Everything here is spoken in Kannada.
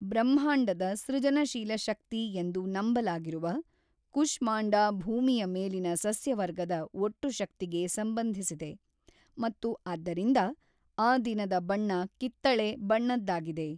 ಬ್ರಹ್ಮಾಂಡದ ಸೃಜನಶೀಲ ಶಕ್ತಿ ಎಂದು ನಂಬಲಾಗಿರುವ ಕುಶ್ಮಾಂಡಾ ಭೂಮಿಯ ಮೇಲಿನ ಸಸ್ಯವರ್ಗದ ಒಟ್ಟು ಶಕ್ತಿಗೆ ಸಂಬಂಧಿಸಿದೆ, ಮತ್ತು ಆದ್ದರಿಂದ, ಆ ದಿನದ ಬಣ್ಣ ಕಿತ್ತಳೆ ಬಣ್ಣದ್ದಾಗಿದೆ.